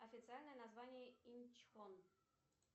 официальное название инчхон